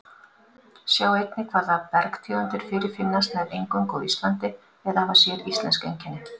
Sjá einnig Hvaða bergtegundir fyrirfinnast nær eingöngu á Íslandi eða hafa séríslensk einkenni?